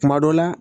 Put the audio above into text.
Kuma dɔ la